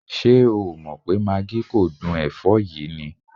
Ṣé o ò mọ̀ pé magí kò dún ẹ̀fọ́ yìí ni?